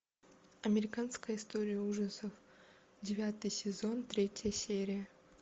американская история ужасов девятый сезон третья серия